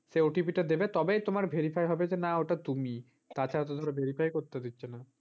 সে OTP টা দেবে তারপরে তোমার ওটা verify হবে যে না ওটা তুমি। তাছাড়া তো ধর verify করতে দিচ্ছে না।